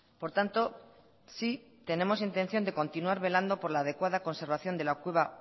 por tanto sí tenemos intención de continuar velando por la adecuada conservación de la cueva